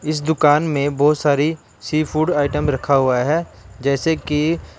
दुकान में बहुत सारी सी फूड आइटम रखा हुआ है जैसे कि--